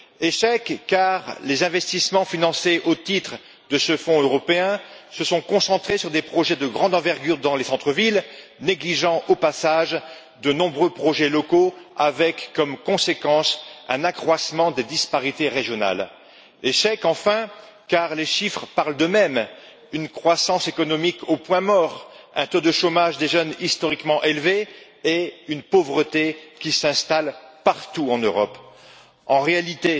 Échec, car les investissements financés au titre de ce fonds européen se sont concentrés sur des projets de grande envergure dans les centres villes, négligeant au passage de nombreux projets locaux, avec comme conséquence un accroissement des disparités régionales. Échec, enfin, car les chiffres parlent d'eux mêmes une croissance économique au point mort, un taux de chômage des jeunes historiquement élevé et une pauvreté qui s'installe partout en Europe. En réalité,